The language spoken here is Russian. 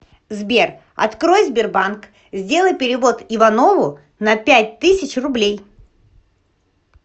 сбер открой сбербанк сделай перевод иванову на пять тысяч рублей